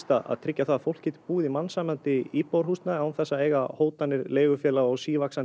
að tryggja það að fólk geti búið í mannsæmandi íbúðarhúsnæði án þess að eiga hótanir leigufélaga og sívaxandi